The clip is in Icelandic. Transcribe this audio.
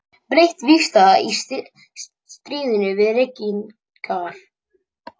Breytt vígstaða í stríðinu við reykingar.